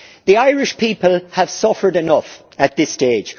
The Irish people have suffered enough at this stage.